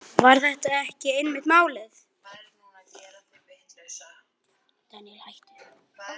Var þetta ekki einmitt málið?